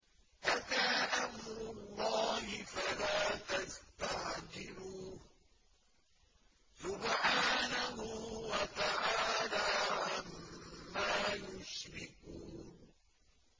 أَتَىٰ أَمْرُ اللَّهِ فَلَا تَسْتَعْجِلُوهُ ۚ سُبْحَانَهُ وَتَعَالَىٰ عَمَّا يُشْرِكُونَ